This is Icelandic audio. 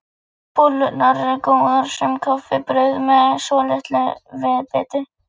Bollurnar eru góðar sem kaffibrauð með svolitlu viðbiti.